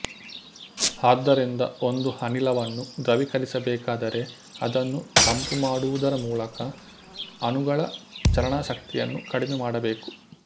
ಆದ್ದರಿಂದ ಒಂದು ಅನಿಲವನ್ನು ದ್ರವೀಕರಿಸಬೇಕಾದರೆ ಅದನ್ನು ತಂಪುಮಾಡುವುದರ ಮೂಲಕ ಅಣುಗಳ ಚಲನಶಕ್ತಿಯನ್ನು ಕಡಿಮೆಮಾಡಬೇಕು